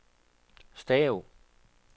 stav